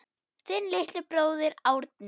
Þinn litli bróðir, Árni.